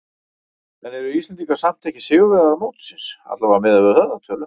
En eru Íslendingar samt ekki sigurvegarar mótsins, allavega miðað við höfðatölu?